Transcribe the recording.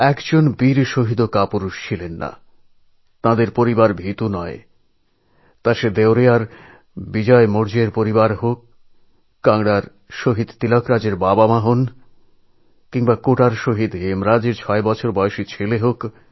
একটিও বীর শহিদ এবং তাঁদের পরিবার এর ব্যতিক্রম নয় সেটা দেবরিয়ার শহিদ বিজয় মৌর্যর পরিবার হোক বা কাংড়ার শহিদ তিলকরাজের পিতামাতা বা কোটার শহিদ হেমরাজের ছবছরের পুত্রও হতে পারে